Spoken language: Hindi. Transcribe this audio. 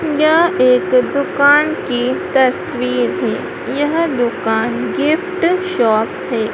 यह एक दुकान की तस्वीर है यह दुकान गिफ्ट शॉप है।